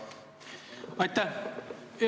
Aitäh!